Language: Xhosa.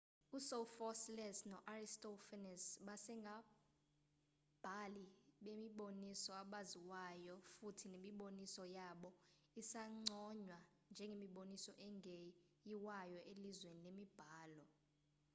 u-sophocles no-aristophanes basengabhali bemiboniso abaziwayo futhi nemiboniso yabo isanconywa njengemiboniso engeyiwayo elizweni lemibhalo